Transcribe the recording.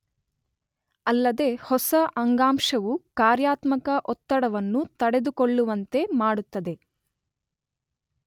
ಅಲ್ಲದೆ ಹೊಸ ಅಂಗಾಂಶವು ಕಾರ್ಯಾತ್ಮಕ ಒತ್ತಡವನ್ನು ತಡೆದುಕೊಳ್ಳುವಂತೆ ಮಾಡುತ್ತದೆ.